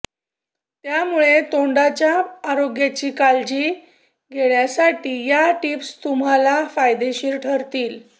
त्यामुळे तोंडाच्या आरोग्याची काळजी घेण्यासाठी या टिप्स तुम्हाला फायदेशीर ठरतील